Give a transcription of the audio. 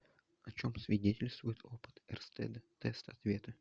о чем свидетельствует опыт эрстеда тест ответы